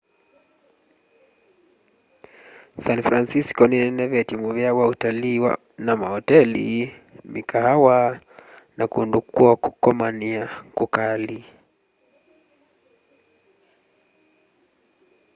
san francisco ninenevetye muvea wa utalii na maoteli mikaawa na kundu kwo komania kukali